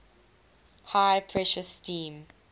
high pressure steam